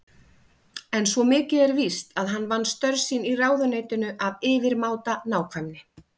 En svo mikið er víst að hann vann störf sín í ráðuneytinu af yfirmáta nákvæmni.